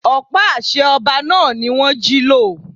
Ọ̀pá àṣẹ ọba náà ni wón jí lọ.